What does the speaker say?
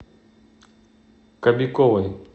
кобяковой